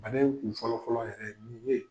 Labɛn kun fɔlɔ fɔlɔ yɛrɛ ye mun bɛ yen.,